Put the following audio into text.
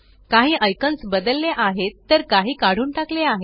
काही आयकॉनस बदलले आहेत तर काही काढून टाकले आहेत